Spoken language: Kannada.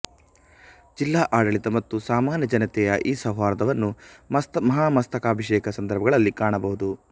ಜಿಲ್ಲಾ ಆಡಳಿತ ಮತ್ತು ಸಾಮಾನ್ಯ ಜನತೆಯ ಈ ಸೌಹಾರ್ದವನ್ನು ಮಹಾಮಸ್ತಿಕಾಭಿಷೇಕ ಸಂದರ್ಭಗಳಲ್ಲಿ ಕಾಣಬಹುದು